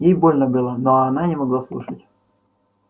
ей больно было но она не могла не слушать